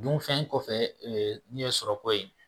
Dunfɛn kɔfɛ ni ye sɔrɔ ko ye